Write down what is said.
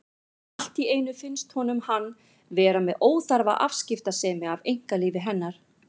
Allt í einu finnst honum hann vera með óþarfa afskiptasemi af einkalífi hennar.